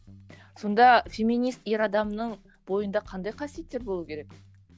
сонда феминист ер адамның бойында қандай қасиеттер болуы керек